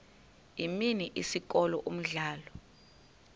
imini isikolo umdlalo